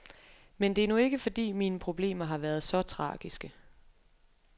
Men det er nu ikke fordi mine problemer har været så tragiske.